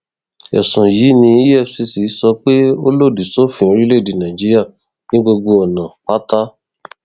ẹsùn yìí ni efccso pé ó lòdì sófin orílẹèdè nàíjíríà ní gbogbo ọnà pátá